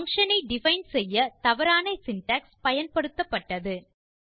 function ஐ define செய்ய தவறான சின்டாக்ஸ் பயன்பட்டது